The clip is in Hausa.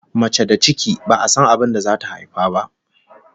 Mace da ciki, ba'a san abin da zata haifa ba!